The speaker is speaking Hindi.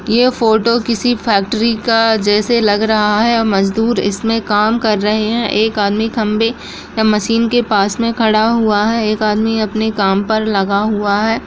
ये फोटो किसी फैक्ट्री का जैसे लग रहा है और मजदूर इसमें काम कर रहें हैं एक आदमी खंभे या मशीन के पास में खड़ा हुआ है एक आदमी अपने काम पर लगा हुआ है।